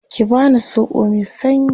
ki bani soɓo Mai sanyi!